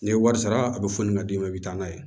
N'i ye wari sara a bɛ foli ka d'i ma i bɛ taa n'a ye